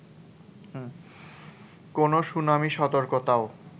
কোনো সুনামি সতর্কতাও